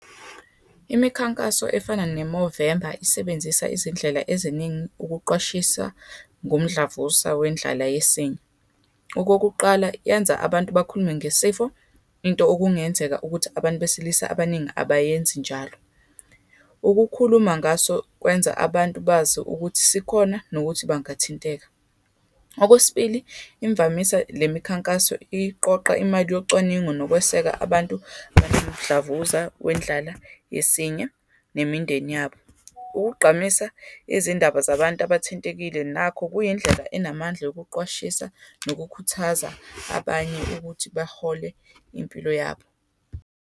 Imikhankaso efana ne-Movember, isebenzisa izindlela eziningi ukuqwashisa ngomdlavuza wendlala yesinye. Okokuqala, yenza abantu bakhulume ngesifo, into okungenzeka ukuthi abantu besilisa abaningi abayenzi njalo. Ukukhuluma ngaso kwenza abantu bazi ukuthi sikhona nokuthi bangathinteka. Okwesibili, imvamisa, le mikhankaso iqoqa imali yocwaningo, nokweseka abantu abanomdlavuza wendlala yesinye nemindeni yabo. Ukugqamisa izindaba zabantu abathintekile nakho kuyindlela enamandla, yokuqwashisa, nokukhuthaza abanye ukuthi bahole impilo yabo.